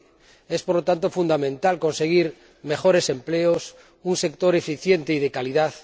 15. Es, por lo tanto, fundamental conseguir mejores empleos, un sector eficiente y de calidad.